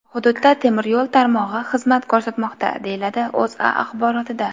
Hududda temir yo‘l tarmog‘i xizmat ko‘rsatmoqda”, deyiladi O‘zA axborotida.